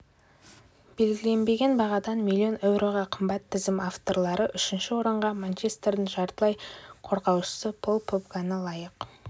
белгіленген бағадан миллион еуроға қымбат тізім авторлары үшінші орынға манчестердің жартылай қорғаушысы поль погбаны лайық